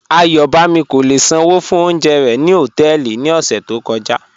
Ayọ̀bámi kò lè ṣánwó fún ọ̀unjẹ̀ rẹ̀ ni họtẹẹlì ni ọṣẹ̀ tó kọja